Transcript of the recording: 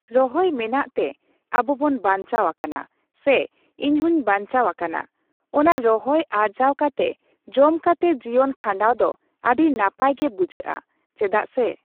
ᱨᱚᱦᱚᱭ ᱢᱮᱱᱟᱜ ᱛᱮ ᱟᱵᱚᱵᱚᱱ ᱵᱟᱧᱪᱟᱣ ᱟᱠᱟᱱᱟ ᱥᱮ ᱤᱧᱦᱚᱸᱧ ᱵᱟᱧᱪᱟᱣ ᱟᱠᱟᱱᱟ ᱾ ᱚᱱᱟ ᱨᱚᱦᱚᱭ ᱟᱨᱡᱟᱣ ᱠᱟᱛᱮ ᱡᱚᱢ ᱠᱟᱛᱮ ᱡᱤᱭᱚᱱ ᱠᱷᱟᱸᱰᱟᱣ ᱫᱚ ᱟᱹᱰᱤ ᱱᱟᱯᱟᱭ ᱜᱮ ᱵᱩᱡᱷᱟᱹᱜᱼᱟ ᱾ ᱪᱮᱫᱟᱜ ᱥᱮ